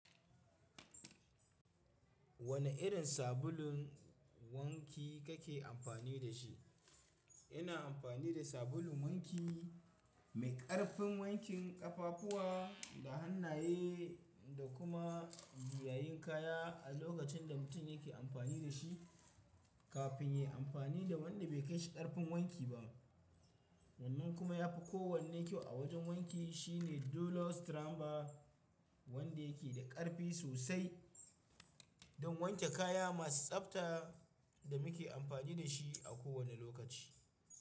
Wane irin sabulun wanki kake amfani da shi? Ina amfani da sabulun wanki mai ƙarfin wankin ƙafafuwa da hannaye da kuma giyayen kaya a lokacin da mutum yake amfani da shi kafin ya yi amfani da wanda bai kai shi ƙarfin wanki ba. Wannan kuma ya fi kowane kyau a wajen wanki shine Dulo Stramba, wanda yake da ƙarfi sosai don wanke kaya masu tsabta da muke amfani da shi a kowane lokaci.